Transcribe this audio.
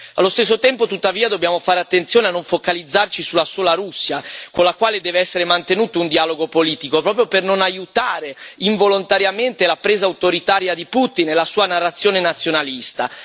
Allo stesso tempo, tuttavia, dobbiamo fare attenzione a non focalizzarci sulla sola Russia, con la quale deve essere mantenuto un dialogo politico proprio per non aiutare involontariamente la presa autoritaria di Putin e la sua narrazione nazionalista.